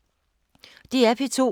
DR P2